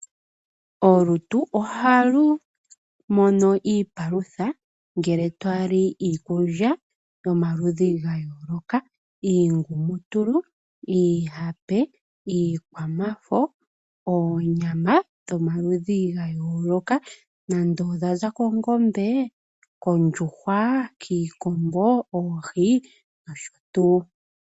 Olutu ohalu mono iipalutha ngele twali iikulya yomaludhi ga yooloka. Iingumutulu iihape, iikwamafo ,oonyama dhomaludhi ga yooloka nande odhaza kongombe, koondjuhwa, kiikombo, oohi nosho tuu.